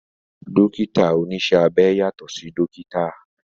Dókítà oníṣẹ́ abẹ yàtọ̀ sí dókítà